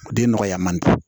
Den nɔgɔya man di